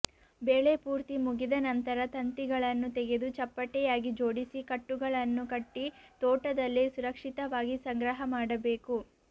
ಬೆಳೆ ಪೂರ್ತಿ ಮುಗಿದ ನಂತರ ತಂತಿಗಳನ್ನು ತೆಗೆದು ಚಪ್ಪಟೆಯಾಗಿ ಜೋಡಿಸಿ ಕಟ್ಟುಗಳನ್ನು ಕಟ್ಟಿತೋಟದಲ್ಲಿ ಸುರಕ್ಷಿತವಾಗಿ ಸಂಗ್ರಹ ಮಾಡಬೇಕು